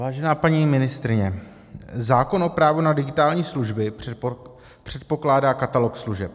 Vážená paní ministryně, zákon o právu na digitální služby předpokládá katalog služeb.